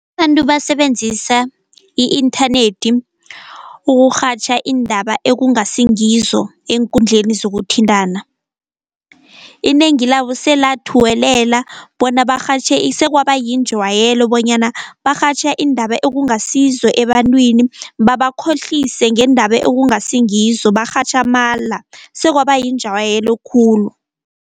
Abantu basebenzisa i-inthanethi ukurhatjha iindaba ekungasi ngizo eenkundleni zokuthintana. Inengi labo selathuwelela bona barhatjhe . Sekwaba yinjwayelo bonyana barhatjha iindaba ekungasizo ebantwini, babakhohlise ngeendaba ekungasingizo, barhatjha amala sekwaba yinjwayelo khulu.